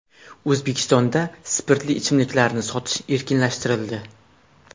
O‘zbekistonda spirtli ichimliklarni sotish erkinlashtirildi.